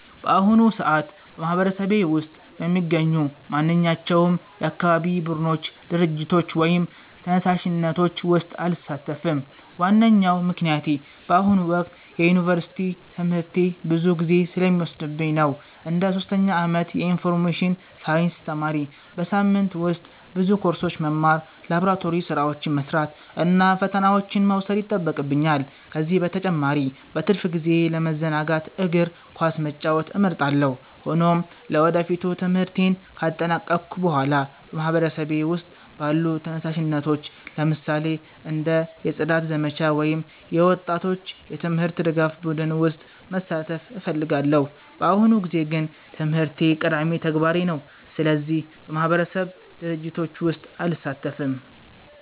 በአሁኑ ሰዓት በማህበረሰቤ ውስጥ በሚገኙ ማንኛቸውም የአካባቢ ቡድኖች፣ ድርጅቶች ወይም ተነሳሽነቶች ውስጥ አልሳተፍም። ዋነኛው ምክንያት በአሁኑ ወቅት የዩኒቨርሲቲ ትምህርቴ ብዙ ጊዜ ስለሚወስድብኝ ነው። እንደ ሶስተኛ ዓመት የኢንፎርሜሽን ሳይንስ ተማሪ፣ በሳምንቱ ውስጥ ብዙ ኮርሶችን መማር፣ ላቦራቶሪ ሥራዎችን መስራት እና ፈተናዎችን መውሰድ ይጠበቅብኛል። ከዚህ በተጨማሪ በትርፍ ጊዜዬ ለመዘናጋት እግር ኳስ መጫወት እመርጣለሁ። ሆኖም ለወደፊቱ ትምህርቴን ካጠናቀቅሁ በኋላ በማህበረሰቤ ውስጥ ባሉ ተነሳሽነቶች፣ ለምሳሌ እንደ የጽዳት ዘመቻ ወይም የወጣቶች የትምህርት ድጋፍ ቡድን ውስጥ መሳተፍ እፈልጋለሁ። በአሁኑ ጊዜ ግን ትምህርቴ ቀዳሚ ተግባሬ ነው፣ ስለዚህ በማህበረሰብ ድርጅቶች ውስጥ አልሳተፍም።